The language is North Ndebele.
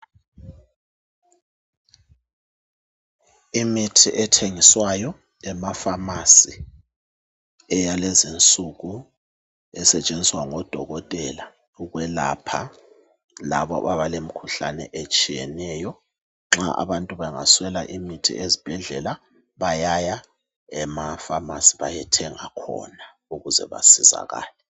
Imithi ethengiswayo emafamasi eyalezi nsuku esetshenziswa ngodokotela ukwelapha labo abalemikhuhlane etshiyeneyo nxa abantu bengaswela imithi ezibhedlela bayaya emafamasi bayethenga khona ukuze basizakale